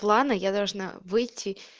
планы я должна выйти